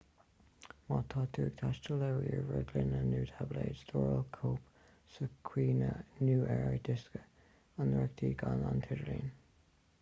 má tá tú ag taisteal le ríomhaire glúine nó táibléad stóráil cóip sa chuimhne nó ar dhiosca inrochtana gan an t-idirlíon